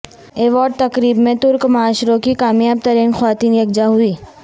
award تقریب میں ترک معاشروں کی کامیاب ترین خواتین یکجا ہوئیں